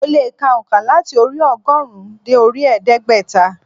Mo le è ka ònká láti orí i ogórùn ún dé orí i ẹdégbẹ́ta